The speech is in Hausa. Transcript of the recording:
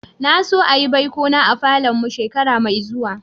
Na so a'yi baiko na a falon mu shekara mai zuwa.